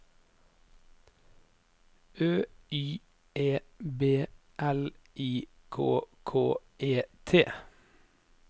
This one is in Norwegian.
Ø Y E B L I K K E T